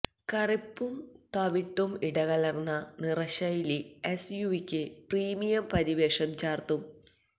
കറുപ്പും തവിട്ടും ഇടകലര്ന്ന നിറശൈലി എസ്യുവിക്ക് പ്രീമിയം പരിവേഷം ചാര്ത്തും